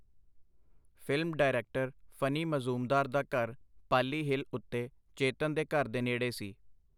Film director, Phani Majumdar ਦਾ ਘਰ Pali hill ਉਤੇ ਚੇਤਨ ਦੇ ਘਰ ਦੇ ਨੇੜੇ ਸੀ.